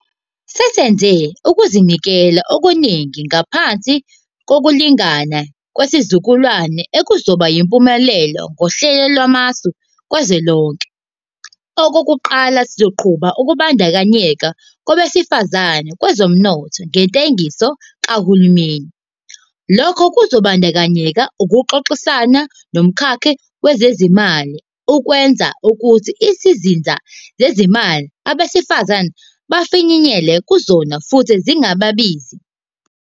Sesenze ukuzinikela okuningi ngaphansi Kokulingana Kwesizukulwana okuzoba yimpumelelo ngoHlelo Lwamasu Kazwelonke. Okokuqala, sizoqhuba ukubandakanyeka kwabesifazane kwezomnotho ngentengiso kahulumeni. Lokhu kuzobandakanya ukuxoxisana nomkhakha wezezimali ukwenza ukuthi izinsiza zezimali abesifazane bafinyelele kuzona futhi zingabizi.